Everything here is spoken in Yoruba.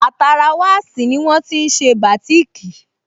Àtara wasi ní wọ́n tí n ṣe bátìkì